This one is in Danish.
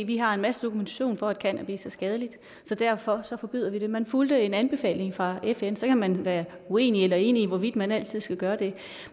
vi har en masse dokumentation for at cannabis er skadeligt så derfor forbyder vi det man fulgte en anbefaling fra fn så kan man være uenig eller enig i hvorvidt man altid skal gøre det